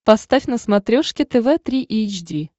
поставь на смотрешке тв три эйч ди